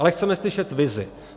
Ale chceme slyšet vizi.